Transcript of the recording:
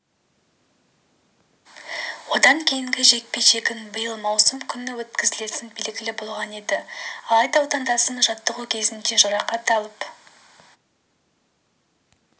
одан кейінгі жекпе-жегін биыл маусым күні өткізетіні белгілі болған еді алайда отандасымыз жаттығу кезінде жарақат алып